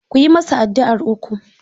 Ku yi masa addu'ar uku!